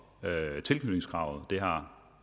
tilknytningskravet det har